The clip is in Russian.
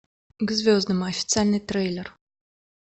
к звездам официальный трейлер